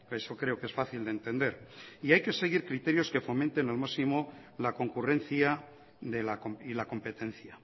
eso creo que es fácil de entender y hay que seguir criterios que fomenten lo máximo la concurrencia y la competencia